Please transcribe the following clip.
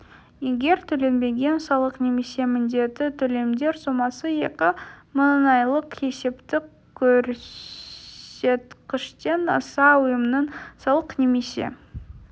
егер төленбеген салық немесе міндетті төлемдер сомасы екі мың айлық есептік көрсеткіштен асса ұйымның салық немесе